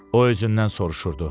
O özündən soruşurdu.